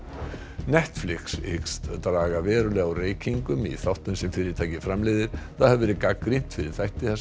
Netflix hyggst draga verulega úr reykingum í þáttum sem fyrirtækið framleiðir það hefur verið gagnrýnt fyrir þætti þar sem